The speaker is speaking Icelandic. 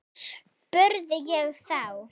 spurði ég þá.